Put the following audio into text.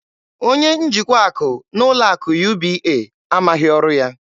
Onye njikwa akụ n'ụlọ akụ UBA amaghị ọrụ ya.